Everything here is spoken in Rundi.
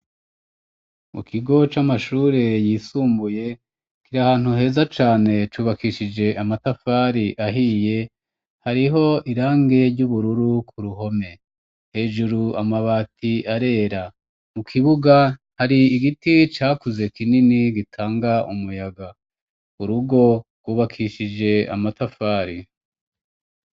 Mu kigo c'amashure yisumbuye kiri ahantu heza cane, cubakishije amatafari ahiye, hariho irangi ry'ubururu ku ruhome. Hejuru amabati arera. Mu kibuga hari igiti cakuze kinini gitanga umuyaga. Urugo rwubakishije amatafari.